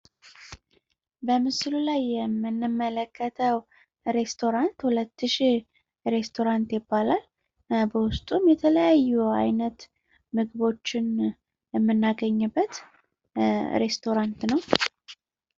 በምስሉ ላይ የምንመለከተው ሬስቶራንት ሁለት ሽህ ሬስቶራንት ይባላል። የተለያዩ አይነት ምግቦችን የምናገኝበት ሬስቶራንት ነው።